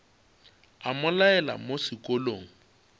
a mo laela mo sekolong